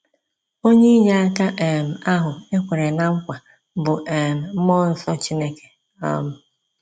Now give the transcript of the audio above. Onye inyeaka um ahụ e kwere ná nkwa bụ um mmụọ nsọ Chineke. um